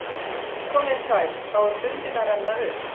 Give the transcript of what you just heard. Komiði sæl Þá er stundin að renna upp.